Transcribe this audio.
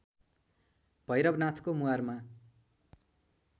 भैरवनाथको मुहारमा